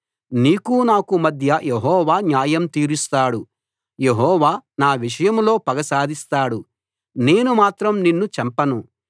నీకూ నాకూ మధ్య యెహోవా న్యాయం తీరుస్తాడు యెహోవా నా విషయంలో పగ సాధిస్తాడు నేను మాత్రం నిన్ను చంపను